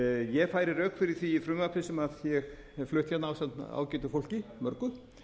ég færi rök fyrir því í frumvarpi sem ég hef flutt hérna ásamt ágætu fólki mörgu